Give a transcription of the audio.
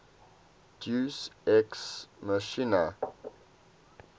deus ex machina